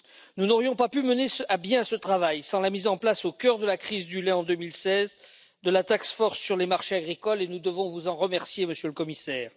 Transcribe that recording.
Nous n'aurions pas pu mener à bien ce travail sans la mise en place, au cœur de la crise du lait en 2016, de la task force sur les marchés agricoles et nous devons vous en remercier, Monsieur le Commissaire.